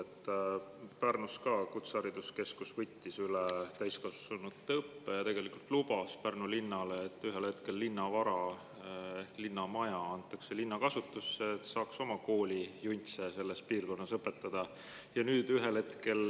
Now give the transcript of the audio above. Ka Pärnus võttis kutsehariduskeskus täiskasvanute õppe üle ja lubas Pärnu linnale, et ühel hetkel linna vara ehk linna maja antakse linna kasutusse, et linn saaks oma koolijuntse selles piirkonnas õpetada.